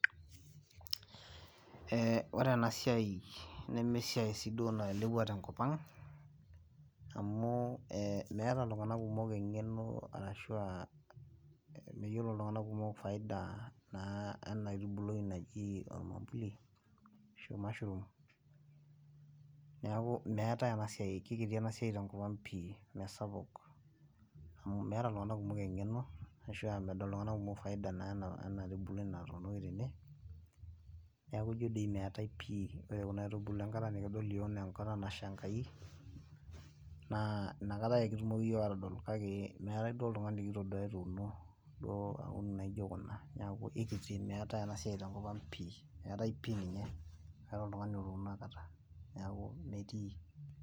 Eeh wore enasiai nemeesiai sii duo nailepua tenkop ang amu eeh meetai iltunganak kumuk engeno ashua mayiolo iltunganak kumuk faida eeh ena aitubului naji ormwambuli ashu mashroom. Niaku meetai enasiai kekiti enasiai tenkop ang pii mesapuk. Niaku meeta iltunganak kumuk engeno ashua medol iltunganak kumuk faida naa ena aitubului. Niaku ijo doi meetai pii wore kuna aitubulu enkata nikidol iyiok naa enkata nasha Enkai naa inakataa ake kitumoki iyiok aatodol kake meetai duo oltungani likitoduo etuuni intokin naijo kuna. Niaku ikiti meetai enasiai tenkop ang pii. Meetai pii ninye meetai otuno akata.